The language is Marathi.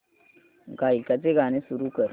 गायकाचे गाणे सुरू कर